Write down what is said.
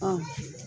Ɔ